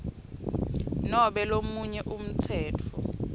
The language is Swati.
nobe lomunye umtsetfo